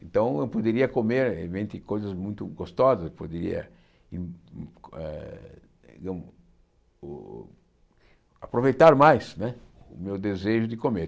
Então, eu poderia comer, evimente, coisas muito gostosas, poderia hum hum eh aproveitar mais né o meu desejo de comer.